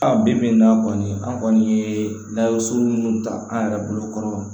A bi bi in na kɔni an kɔni ye dasurun minnu ta an yɛrɛ bolokɔrɔ wa